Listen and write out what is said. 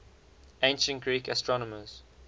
ancient greek astronomers